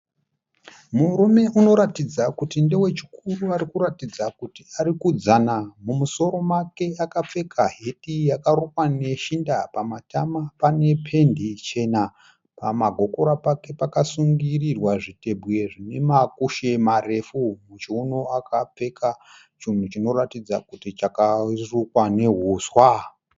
Murume unoratidza kuti ndewechikuru ari kuratidza kuti ari kudzana. Mumusoro make akapfeka heti yakarukwa neshinda. Pamatama pane pendi chena, pamagokora pake pakasungirirwa zviteguye zvine makushe marefu, muchiuno akapfeka chinhu chinoratidza kuti chakarukwa neuswa.